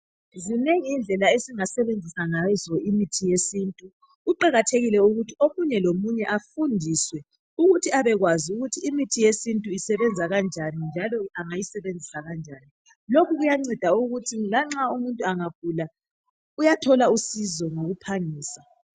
Zinengi indlela singasebenzisa ngazo imithi yesintu kuqakathekile ukuthi omunye lomunye afundiswe ukuthi abekwazi ukuthi imithi yesintu isebenza kanjani njalo angayisebenzisa kanjani lokhu kuyanceda ukuthi lanxa umuntu angagula uyathola usizo ngokuphangisa.